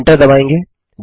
enter दबायेंगे